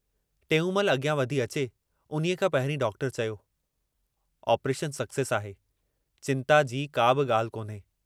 टेऊंमल अॻियां वधी अचे, उन्हीअ खां पहिरीं डॉक्टर चयो, ऑपरेशन सक्सेस आहे चिंता जी काबि ॻाल्हि कोन्हे।